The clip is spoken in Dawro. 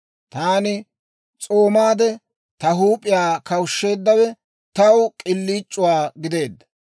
Taani s'oomaade, ta huup'iyaa kawushsheeddawe, taw k'iliic'uwaa gideedda.